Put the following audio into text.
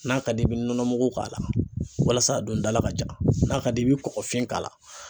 N'a ka di i bɛ nɔnɔ mugu k'a la walasa a dundala ka ja n'a ka d'i ye i bɛ kɔkɔfin k'a la.